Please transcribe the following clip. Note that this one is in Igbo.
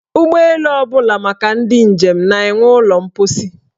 Ụgbọelu ọbụla maka ndị njem na-enwe ụlọ mposi.